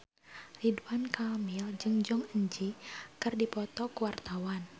Ridwan Kamil jeung Jong Eun Ji keur dipoto ku wartawan